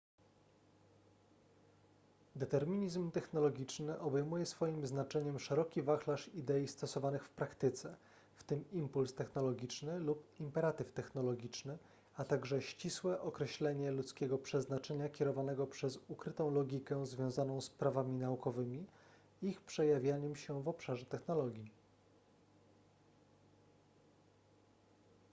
determinizm technologiczny obejmuje swoim znaczeniem szeroki wachlarz idei stosowanych w praktyce w tym impuls technologiczny lub imperatyw technologiczny a także ścisłe określenie ludzkiego przeznaczenia kierowanego przez ukrytą logikę związaną z prawami naukowymi i ich przejawianiem się w obszarze technologii